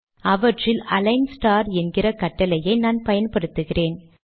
அவற்றில் align star என்கிற கட்டளையை நான் பயன்படுத்துகிறேன்